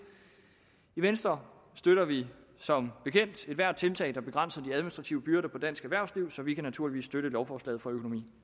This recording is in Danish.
i venstre støtter vi som bekendt ethvert tiltag der begrænser de administrative byrder for dansk erhvervsliv så vi kan naturligvis støtte lovforslaget fra økonomi